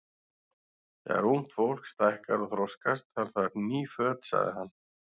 Þegar ungt fólk stækkar og þroskast, þarf það ný föt sagði hann.